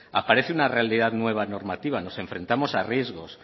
aparece una realidad nueva normativa nos enfrentamos a riesgos